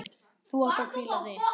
Þú átt að hvíla þig.